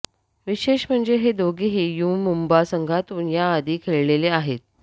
विशेष म्हणजे हे दोघेही यू मुम्बा संघातून याआधी खेळलेले आहेत